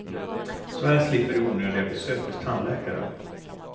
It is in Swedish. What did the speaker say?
Så här slipper du onödiga besök hos tandläkaren.